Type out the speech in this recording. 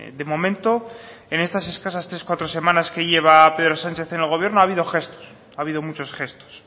de momento en estas escasas tres cuatro semanas que lleva pedro sánchez en el gobierno ha habido gestos ha habido muchos gestos